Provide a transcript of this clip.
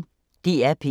DR P1